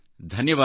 ಧನ್ಯವಾದ